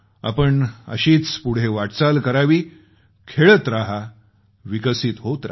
आपण अशीच पुढे वाटचाल करावी खेळत रहा विकसित होत रहा